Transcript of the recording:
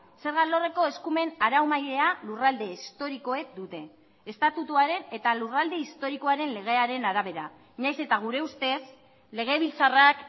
zerga alorreko eskumen araumailea lurralde historikoek dute estatutuaren eta lurralde historikoaren legearen arabera nahiz eta gure ustez legebiltzarrak